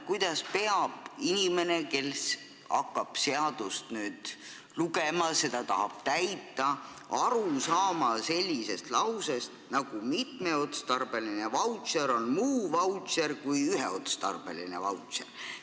Kuidas peab inimene, kes hakkab nüüd seadust lugema ja tahab seda täita, saama aru sellisest lausest nagu "Mitmeotstarbeline vautšer on muu vautšer kui üheotstarbeline vautšer."?